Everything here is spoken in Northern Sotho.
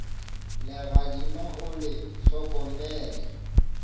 legadima o le hlokomele le